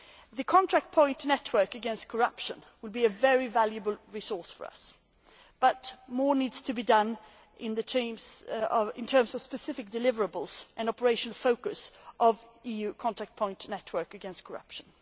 The contact point network against corruption will be a very valuable resource for us, but more needs to be done in terms of specific deliverables and the focus of the EU contact point network against corruption.